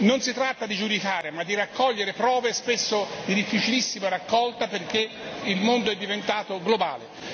Non si tratta di giudicare, ma di raccogliere prove spesso di difficilissima raccolta perché il mondo è diventato globale.